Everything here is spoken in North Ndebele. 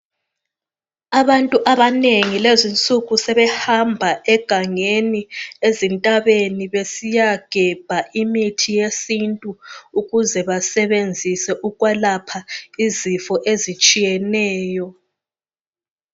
Abantu abanengi lezinsuku sebehamba egangeni ezintabeni besiyagebha imithi yesintu ukuze basebenzise ukwelapha izifo ezitshiyeneyo.